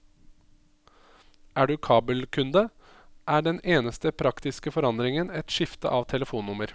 Er du kabelkunde, er den eneste praktiske forandringen et skifte av telefonnummer.